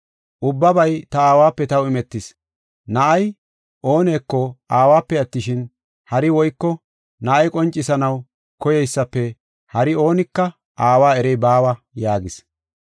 “Ubbabay ta aawape taw imetis. Na7ay ooneko aawape attishin, hari woyko na7ay qoncisanaw koyeysafe hari oonika aawa erey baawa” yaagis.